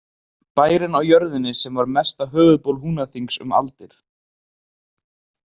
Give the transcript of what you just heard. Bærinn á jörðinni sem var mesta höfuðból Húnaþings um aldir.